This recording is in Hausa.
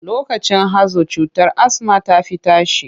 Lokacin hazo cutar asma ta fi tashi.